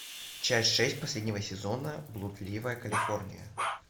часть шесть последнего сезона блудливая калифорния